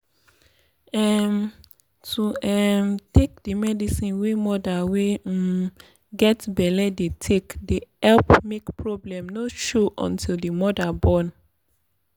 um to um take di medicine wey moda wey um get belle dey take dey epp make problem no show until di moda born.